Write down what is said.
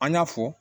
An y'a fɔ